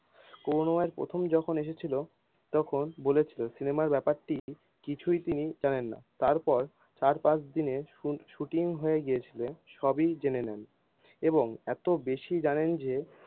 করুনাময় প্রথম যখন এসেছিল তখন বলেছিল সিনেমায় ব্যাপারটি কিছুই তিনি জানেন না, তার পর চার পাঁচ দিনে শুনি শুটিং হয়ে গিয়েছিল সবি জেনে নেন এবং এতো বেশি জানেন যে,